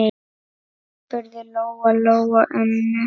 spurði Lóa-Lóa ömmu.